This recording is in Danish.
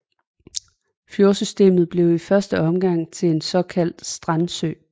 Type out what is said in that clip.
Fjordsystemet blev i første omgang til en såkaldt strandsø